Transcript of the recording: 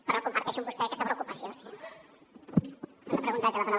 però comparteixo amb vostè aquesta preocupació sí